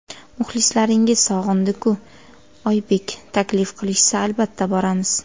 Muxlislaringiz sog‘indi-ku... Oybek: Taklif qilishsa, albatta, boramiz.